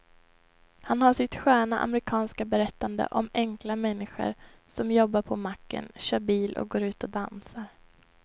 Han har sitt sköna amerikanska berättande om enkla människor som jobbar på macken, kör bil och går ut och dansar.